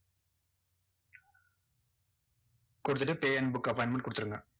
கொடுத்துட்டு pay and book appointment கொடுத்துருங்க.